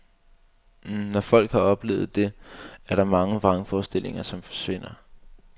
Når folk har oplevet det, er der mange vrangforestillinger, som forsvinder.